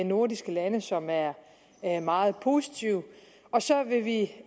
nordiske lande som er meget positive og så vil vi